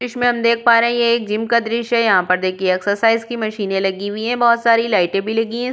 दृश्य पर हम देख पा रहे हैं। ये एक जिम का दृश्य है। यहाँ पर देखिये एक्सरसाइज की मशीन लगी हुई है। बहुत सारी लाइटे भी लगी हैं।